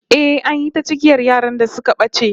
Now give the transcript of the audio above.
Eh, an yi ta cigiyar yaran da suka bace